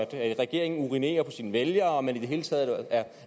at regeringen urinerer på sine vælgere og at man i det hele taget er